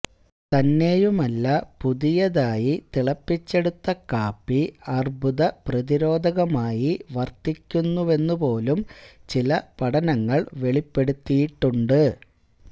തന്നെയുമല്ല പുതിയതായി തിളപ്പിച്ചെടുത്ത കാപ്പി അര്ബ്ബുദപ്രതിരോധകമായി വര്ത്തിക്കുമെന്നുപോലും ചില പഠനങ്ങള് വെളിപ്പെടുത്തിയിട്ടുണ്ട്